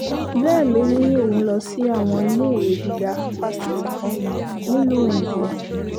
bẹ́ẹ̀ ló ní òun lọ sí àwọn iléèwé gíga fásitì kan nílùú òyìnbó